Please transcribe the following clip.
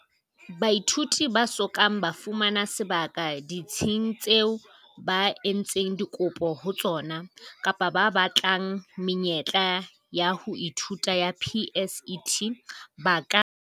Baithuti ba so kang ba fumana sebaka ditsing tseo ba entseng dikopo ho tsona, kapa ba batlang menyetla ya ho ithuta ya PSET, ba ka